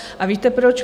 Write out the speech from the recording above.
A víte proč?